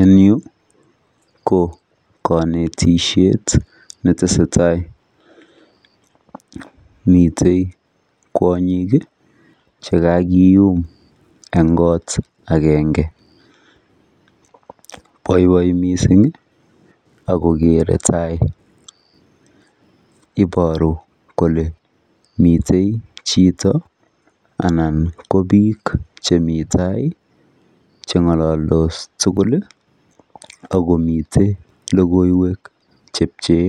En yuu ko konetishet netesetai miten kwonyik kii chekakiyum en kot agenge, boiboiyet missingi Ako kere tai iboru kole miten chito ana ko bik chemii tai chengololtos tukul ak komiten lokoiwek chepchee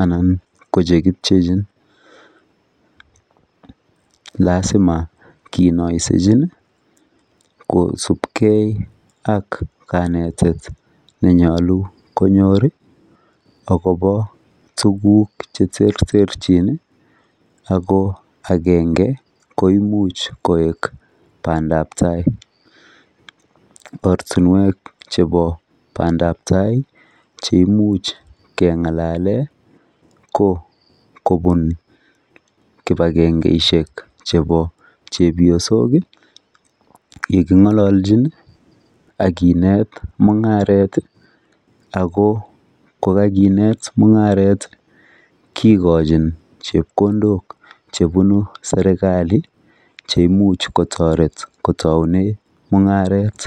anan ko chekipchechin. Lasima kinosechini kosipgee ak kanetet nenyolu konyori akobo tukuk cheterterchin Ako agenge ko imuch koek pandap tai. Ortinwek chebo pandap tai cheimuch kengalalen ko kobun kipagengeishek chebo chepyosik yekingololchin ak kinet mungaret tii ako kokakinet mungaret kikochin chepkondok chebunu sirkali che imuch kotoret kotoune mungaret.